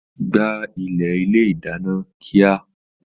Gbá ilẹ̀ ilé ìdáná kíá!